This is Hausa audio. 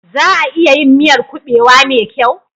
Za a iya yin miyar kuɓewa mai kyau?